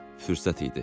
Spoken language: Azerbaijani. Fürsət idi.